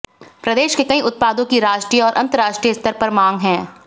प्रदेश के कई उत्पादों की राष्ट्रीय और अंतर्राष्ट्रीय स्तर पर मांग है